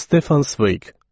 Stefan Sveq.